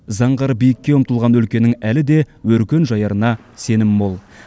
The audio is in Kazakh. заңғар биікке ұмтылған өлкенің әлі де өркен жаярына сенім мол